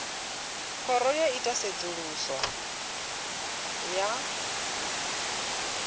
khoro yo ita tsedzuluso ya